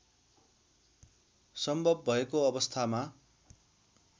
सम्भव भएको अवस्थामा